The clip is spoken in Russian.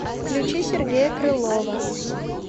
включи сергея крылова